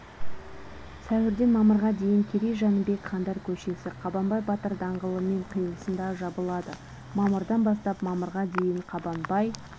сәуірден мамырға дейін керей-жәнібек хандар көшесі қабанбай батыр даңғылымен қиылысында жабылады мамырдан бастап мамырға дейін қабанбай